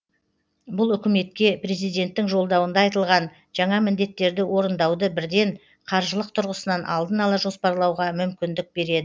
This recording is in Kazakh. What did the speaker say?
бұл үкіметке президенттің жолдауында айтылған жаңа міндеттерді орындауды бірден қаржылық тұрғысынан алдын ала жоспарлауға мүмкіндік береді